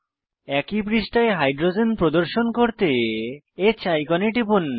একই পৃষ্ঠায় হাইড্রোজেন প্রদর্শন করতে H আইকনে টিপুন